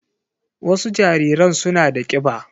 Wasu jariran suna da kiba